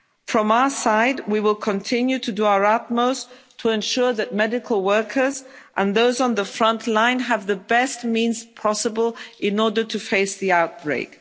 From our side, we will continue to do our utmost to ensure that medical workers and those on the front line have the best means possible in order to face the outbreak.